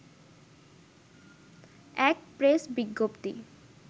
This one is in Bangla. এক প্রেস বিজ্ঞপ্তি